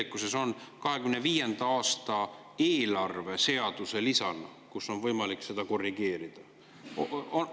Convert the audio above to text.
Kas see on 2025. aasta riigieelarve seaduse lisas, kus on võimalik seda korrigeerida?